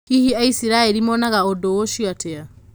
Hihi Aisiraeli monaga ũndũ ũcio atĩa?